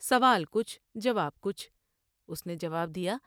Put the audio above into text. سوال کچھ جواب کچھ اس نے جواب دیا ۔